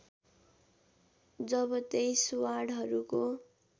जब २३ वार्डहरूको